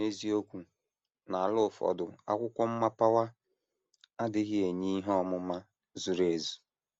N’eziokwu, n’ala ụfọdụ akwụkwọ mmapawa adịghị enye ihe ọmụma zuru ezu.